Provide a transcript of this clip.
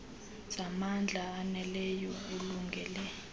zamandla aneleyo alungele